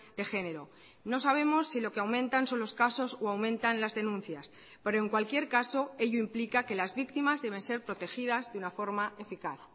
de género no sabemos si lo que aumentan son los casos o aumentan las denuncias pero en cualquier caso ello implica que las víctimas deben ser protegidas de una forma eficaz